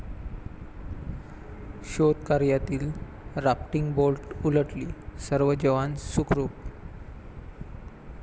शोधकार्यातील rafting boat उलटली, सर्व जवान सुखरुप